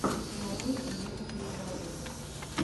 нарой имейджин драгонс